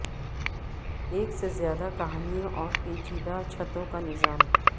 ایک سے زیادہ کہانیوں اور پیچیدہ چھتوں کا نظام